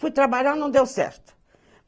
Fui trabalhar, não deu certo.